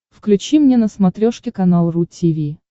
включи мне на смотрешке канал ру ти ви